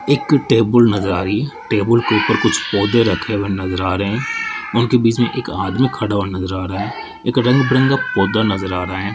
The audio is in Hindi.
एक टेबल नज़र आ रही है टेबल के ऊपर कुछ पौधे रखे हुए नज़र आ रहे हैं और उनके बीच में एक आदमी खड़ा होने को जा रहा है एक रंग-बिरंगा पौधा नज़र आ रहा है।